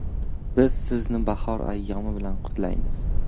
Biz sizni bahor ayyomi bilan qutlaymiz!